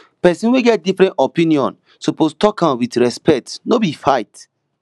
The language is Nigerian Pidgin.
pesin wey get different opinion suppose tok am wit respect no be fight